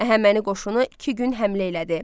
Əhəməni qoşunu iki gün həmlə elədi.